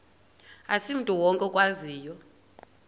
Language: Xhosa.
asimntu wonke okwaziyo